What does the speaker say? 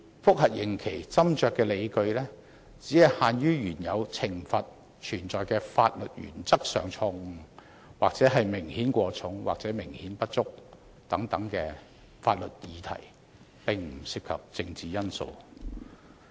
覆核刑期斟酌的理據，只限於原有懲罰存在法律原則上的錯誤，或明顯過重、或明顯不足等法律議題，並不涉及政治因素。